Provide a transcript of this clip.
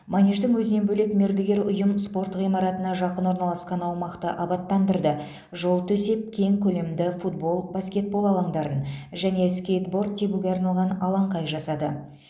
манеждің өзінен бөлек мердігер ұйым спорт ғимаратына жақын орналасқан аумақты абаттандырды жол төсеп кең көлемді футбол баскетбол алаңдарын және скейтборд тебуге арналған алаңқай жасады